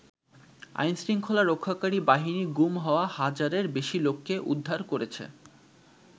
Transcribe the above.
আইনশৃঙ্খলা রক্ষাকারী বাহিনী গুম হওয়া হাজারের বেশি লোককে উদ্ধার করেছে।